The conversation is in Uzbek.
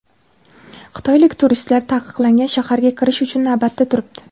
Xitoylik turistlar Taqiqlangan shaharga kirish uchun navbatda turibdi.